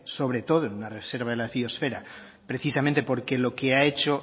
sobre todo en una reserva de la biosfera precisamente porque lo que ha hecho